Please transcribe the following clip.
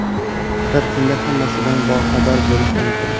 Faqat shunda hammasidan boxabar bo‘lish mumkin.